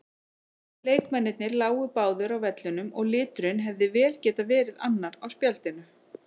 Leikmennirnir lágu báðir á vellinum og liturinn hefði vel getað verið annar á spjaldinu.